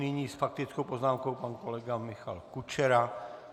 Nyní s faktickou poznámkou pan kolega Michal Kučera.